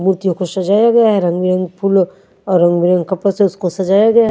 मूर्तियों को सजाया गया है रंग बिरंगे फूलों और रंग बिरंगे कपड़ों से इसको सजाया गया--